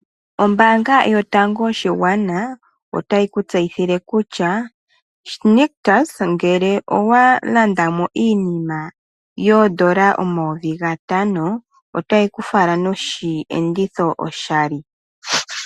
Ombanga yotango yopashigwana otayi ku tseyithile kutya Nictus ngele owalanda mo iinima N$5000 oteyi ku fala nooshenditho oshali.